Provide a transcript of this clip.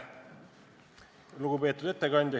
Lugupeetud juhataja!